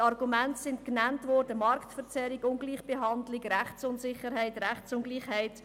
Die Argumente sind genannt worden: Marktverzerrung, Ungleichbehandlung, Rechtunsicherheit, Rechtsungleichheit.